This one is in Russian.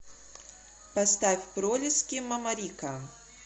поставь пролиски мамарика